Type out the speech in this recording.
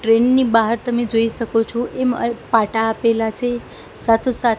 train ની બાહર તમે જોઈ સકો છો એમા પાટા આપેલા છે સાથો સાથ--